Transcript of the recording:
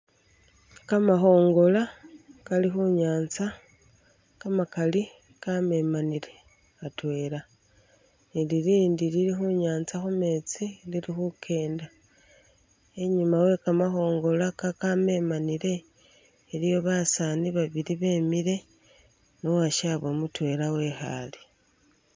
Kamakhongola Kali khunyanza kamakali kamemanile atwela ni lilindi lili khunyanza khumetsi lili khukenda, inyuma we kamakhongola kakamemanile iliyo basaani babili bemile ne uwashabwe mutwela wekhale.